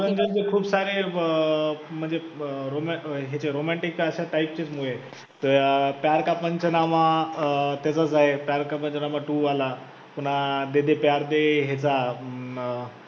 खूप सारे अं म्हणजे अं roman हे चे romantic अश्या type चेचं movie आहेत, प्यार का पंचनामा अं त्याचाच आहे प्यार का पंचनामा two आला पुन्हा दे दे प्यार दे हे चा अं